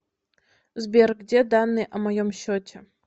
сбер где данные о моем счете